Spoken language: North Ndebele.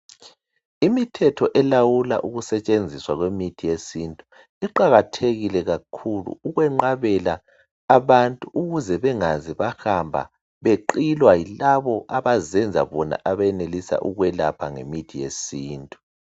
Imithetho elawula ukusetshenziswa kwemithi yesintu iqakathekile kakhulu, ukwenqabela abantu ukuze bengaze bahamba beqilwa yilabo abazenza abakwazi ukwelapha ngemithi yesintu.